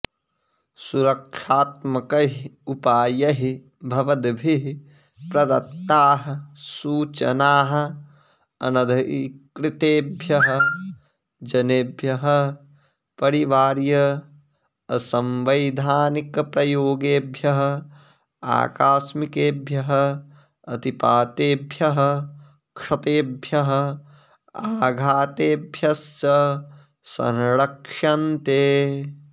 सुरक्षात्मकैः उपायैः भवद्भिः प्रदत्ताः सूचनाः अनधिकृतेभ्यः जनेभ्यः परिवार्य असंवैधानिकप्रयोगेभ्यः आकस्मिकेभ्यः अतिपातेभ्यः क्षतेभ्यः आघातेभ्यश्च संरक्ष्यन्ते